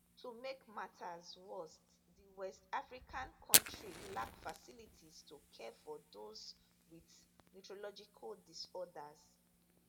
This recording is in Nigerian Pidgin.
to make matters worse di west african kontri lack facilities to care for those wit neurological disorders